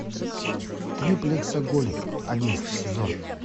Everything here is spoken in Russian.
триплексоголик одиннадцатый сезон